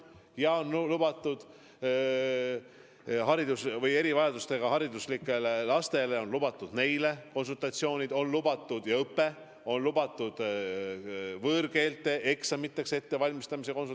Ja hariduslike erivajadustega lastele on lubatud kontaktõpe, on lubatud konsultatsioonid võõrkeeleeksamite ettevalmistamiseks.